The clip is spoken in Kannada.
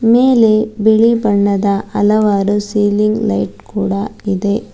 ಮೇಲೆ ಬಿಳಿ ಬಣ್ಣದ ಹಲವಾರು ಸೀಲಿಂಗ್ ಲೈಟ್ ಕೂಡ ಇದೆ.